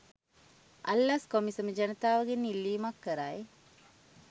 අල්ලස් කොමිසම ජනතාවගෙන් ඉල්ලීමක් කරයි.